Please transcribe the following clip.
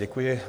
Děkuji.